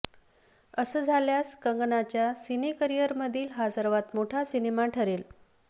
असं झाल्यास कंगनाच्या सिनेकरिअरमधील हा सर्वात मोठा सिनेमा ठरेल